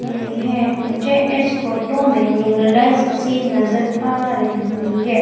यह है मुझे इस फोटो में न्यूरोलाइज मशीन नजर आ रही है।